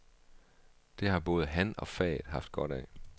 Det har både han og faget haft godt af.